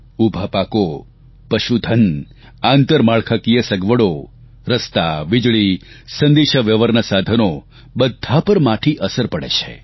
ઉભા પાકો પશુધન આંતરમાળખાકીય સગવડો રસ્તા વીજળી સંદેશાવ્યવહારના સાધનો બધાં પર માઠી અસર પડે છે